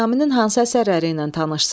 Nizaminin hansı əsərləri ilə tanışsız?